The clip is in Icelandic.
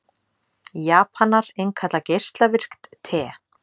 Japanar innkalla geislavirkt te